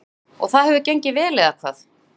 Guðný: Og það hefur gengið vel eða hvað?